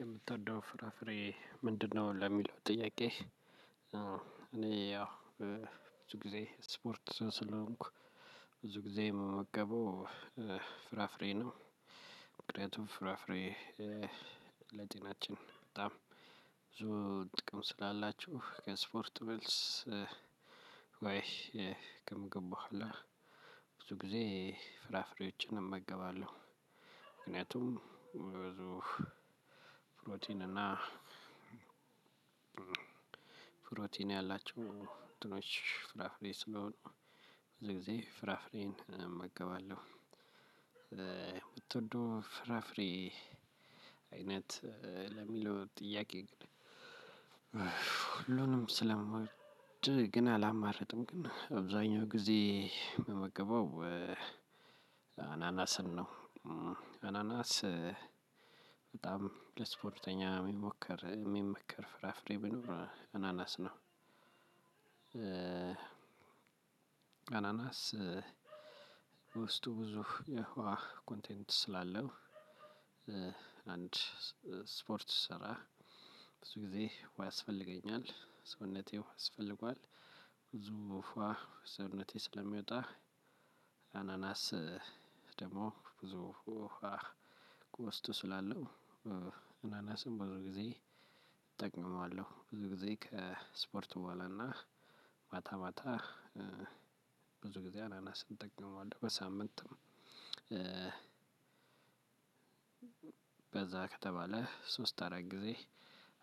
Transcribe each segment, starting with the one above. የምትወደው ፍራፍሬ ምንድንነው? ለሚለው ጥያቄ። ያው ብዙ ጊዜ ስፖርት ስለሆንኩ ብዙ ጊዜ እምመገበው ፍራፍሬ ነው። ምክንያቱም ፍራፍሬ ለጤናችን በጣም ብዙ ጥቅም ስላላቸው ከእስፖርት መልስ። ወይ ከምግብ በሁአላ ብዙ ጊዜ ፍራፍሬዎችን እመገባለሁ። ምክንያቱም ብዙ ፕሮቲን እና ፕሮቲን ያላቸው እንትኖች ፍራፍሬ ስለሆኑ ብዙ ጊዜ ፍራፍሬን እመገባለሁ። እምትወደው ፍራፍሬ አይነት ለሚለው ጥያቄ ግን ሁሉንም ስለምወድ ግን አላማረጥም ግን አብዛኛው ጊዜ እምመገበው አናናስን ነው። አናናስ በጣም ለስፖርተኛ የሚሞከር የሚመከር ፍራፍሬ ቢኖር አናናስ ነው። አናናስ ውስጡ ብዙ የውሃ ኮንቴንት ስላለው አንድ ስፖርት ስሰራ ብዙ ጊዜ ውሃ ያስፈልገኛል ሰውነቴ ውሃ ያስፈልገዋል። ብዙ ውሃ ከሰውነቴ ስለሚወጣ አናናስ ደግሞ ብዙ ውሃ ውስጡ ስላለው እናናስን ብዙ ጊዜ እጠቀመዋለሁ። ብዙ ጊዜ ከስፖርት በኋላ እና ማታ ማታ ብዙ ጊዜ አናናስን እጠቀመዋለሁ። በሳምንትም በዛ ከተባለ ሶስት አራት ጊዜ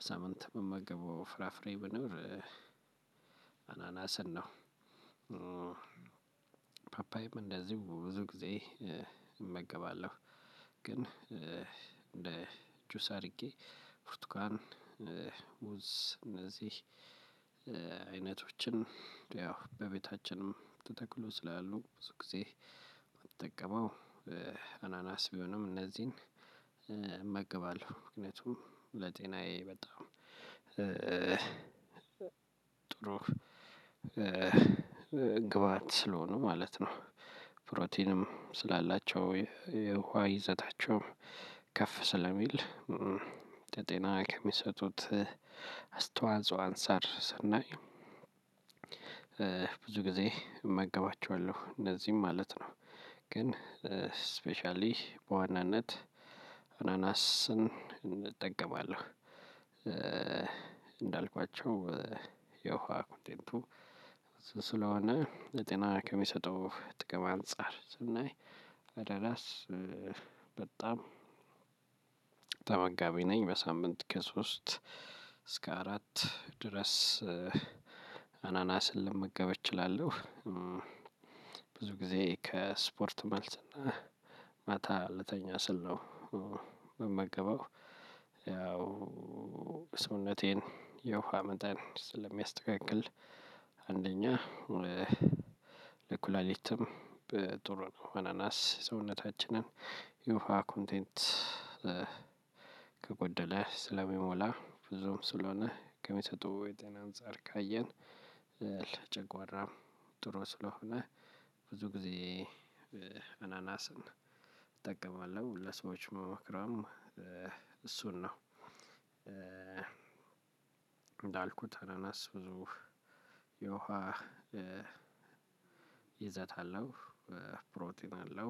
ሳምንት እምመገበው ፍራፍሬ ቢኖር አናናስን ነው። ፓፓዬም እንደዚሁ ብዙ ጊዜ እመገባለሁ። ግን እንደ ጁስ አድርጌ በብርቱካን ሙዝ እነዚህ አይነቶችን ያው በቤታችንም ተተክሎ ስላሉ ብዙ ጊዜ እምጠቀመው አናናስ ቢሆንም እነዚህን እመግባለሁ ምክንያቱም ለጤናዬ በጣም ጥሩ ግብአት ስለሆኑ ማለት ነው። ፕሮቲንም ስላላቸው የውሃ ይዘታቸውም ከፍ ስለሚል ለጤና ከሚሰጡት አስተዋጽኦ አንፃር ስናይ ብዙ ጊዜ እመገባቸዋለሁ እነዚህን ማለት ነው። ግን ስፔሻሊ በዋናነት አናናስን እጠቀማለሁ። እንዳልኳቸው የውሃ ኮንቴንቱ ስለሆነ የጤና ከሚሰጠው ጥቅም አንፃር ስናይ አናናስ በጣም ተመጋቢ ነኝ። በሳምንት ከሶስት እስከ አራት ድረስ አናናስን ልመገብ እችላለሁ። ብዙ ጊዜ ከስፖርት መልስ ማታ ልተኛ ስል ነው እምመገበው። ያው ሰውነቴን የውሃ መጠን ስለሚያስተካክል አንደኛ ለኩላሊትም ጥሩ ነው። አናናስ የሰውነታችንን የወሃ ኮንቴንት ከጎደለ ስለሚሞላ ብዙም ስለሆነ ከሚሰጠው የጤና አንፃር ካየን። ለጨጓራም ጥሩ ስለሆነ ብዙ ጊዜ እናናስን እጠቀማለሁ ለሰዎች እምመክረውም እሱን ነው። እንዳልኩት አናናስ ብዙ የውሃ ይዘት አለው። ፕሮቲን አለው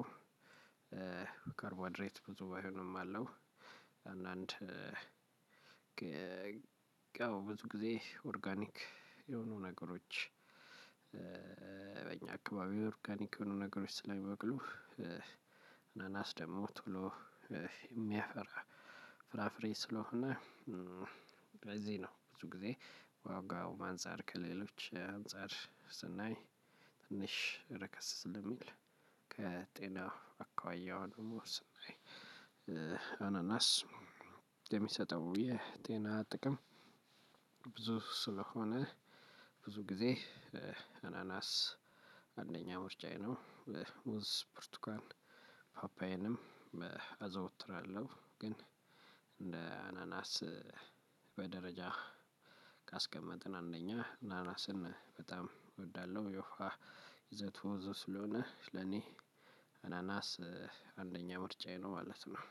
ካርቦሀይድሬት ብዙ ባይሆንም አለው። አንዳንድ ያው ብዙ ጊዜ ኦርጋኒክ የሆኑ ነገሮች በእኛ አክባቢ ኦርጋኒክ የሆኑ ነገሮች ስለሚበቅሉ አናናስ ደግሞ ቶሎ የሚያፈራ ፍራፍሬ ስለሆነ። በዚህ ነው ብዙ ጊዜ ከዋጋውም አንፃር ከሌሎች አንፃር ስናይ ትንሽ ረከሰ ስለሚል ከጤና አኳያ ደግሞ ስናይ አናናስ የሚሰጠው የጤና ጥቅም ብዙ ስለሆነ ብዙ ጊዜ አናናስ አንደኛ ምርጫዬ ነው። ሙዝ ብርቱካን ፓፓዬንም አዘውትራለሁ ግን እንደ አናናስ በደረጃ ካስቀመጥን አንደኛ ናናስን በጣም እወዳለሁ የውፋ ይዘት ይዘቱ ስለሆነ ለኔ አናናስ አንደኛ ምርጫዬ ነው ማለት ነው